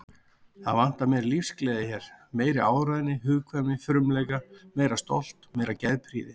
Það vantar meiri lífsgleði hér, meiri áræðni, hugkvæmni, frumleika, meira stolt, meiri geðprýði.